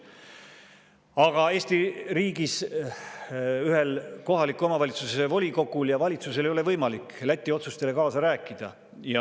Aga Eesti riigis ühel kohaliku omavalitsuse volikogul ja valitsusel ei ole võimalik Läti otsustele kaasa rääkida.